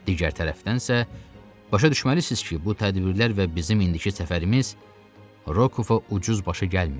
Digər tərəfdənsə, başa düşməlisiniz ki, bu tədbirlər və bizim indiki səfərimiz Rokova ucuz başa gəlməyib.